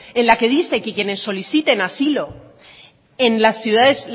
en la que dicen que quienes soliciten asilo en las ciudades